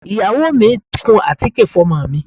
Ìyàwó mi ń kun àtíkè fún ọmọ mi